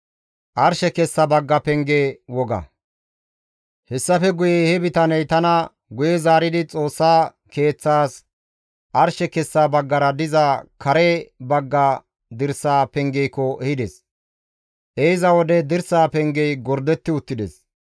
Hessafe guye he bitaney tana guye zaaridi Xoossa Keeththas arshe kessa baggara diza kare bagga dirsa pengeekko ehides; izi ehiza wode dirsa pengey gordetti uttides.